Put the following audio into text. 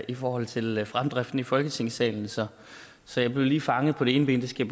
i forhold til fremdriften i folketingssalen så så jeg blev lige fanget på det ene ben det skal